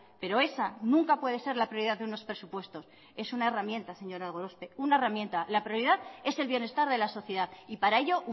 pero esa nunca puede ser la prioridad de unos presupuestos es una herramienta señora gorospe una herramienta la prioridad es el bienestar de la sociedad y para ello